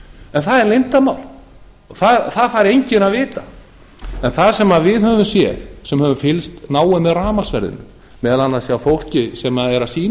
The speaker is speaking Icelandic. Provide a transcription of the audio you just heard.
en það er leyndarmál það fær enginn að vita en það sem við höfum séð sem höfum fylgst náið með rafmagnsverðinu meðal annars hjá fólki sem er að sýna